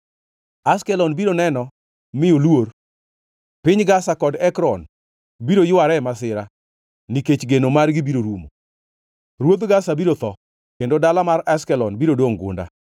Ashkelon biro neno mi oluor; piny Gaza kod Ekron biro yware e masira, nikech geno margi biro rumo. Ruodh Gaza biro tho kendo dala mar Ashkelon biro dongʼ gunda.